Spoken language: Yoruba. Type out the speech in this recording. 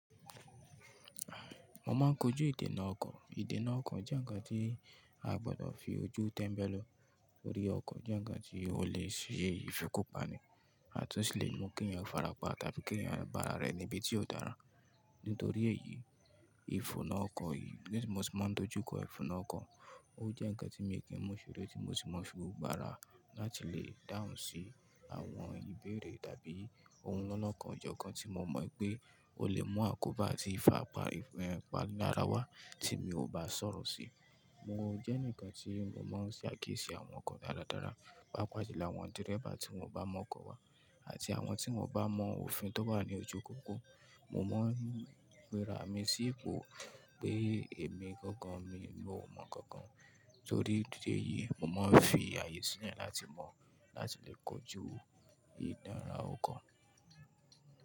Mo máa ń kojú ìdènà ọkọ̀. Ìdènà ọkọ̀ jẹ́ ǹkan tí a gbọdọ̀ fi ojú tẹ́mbẹ́lú tori ọkọ̀, jẹ́ ǹkan tí ó lè ṣe ìfikúpani àtúnṣe lému kí ènìyàn farapa tàbí kí ènìyàn ba ara rẹ̀ níbi tí ó dára. Nítorí èyí, ìfùnna ọkọ̀ yìí ni tí mo sì máa ń dojú kọ ìfùnna ọkọ̀. Ó jẹ́ ǹkan tí mi ò kí ń mu ìṣòro, tí mo sì máa ń fi gbà ara láti lè dáhùn sí àwọn ìbéèrè tàbí ohun lọ́nà kan ọjọ́ kan tí mo mọ̀ pé ó lè mú àkóbá àti ìfàpa, ìfẹpa lara wá tí mi ò bá sọ̀rọ̀ sí i. Mo jẹ́ ǹkan tí mo máa ń ṣe àkíyèsí àwọn ọkọ̀ dáradára, pàápàá jùlọ àwọn dírẹ́bà tí wọ́n bá mọ ọkọ̀ wá àti àwọn tí wọ́n bá mọ òfin tó bá ní ojú pópó. Mo máa ń gbéra mi sí ipò pé èmi gangan mi ò mọ̀ kankan. Nítorí ìdí èyí, mo máa ń fi àyè sílẹ̀ láti mọ̀ láti lè kojú ìdánra ọkọ̀.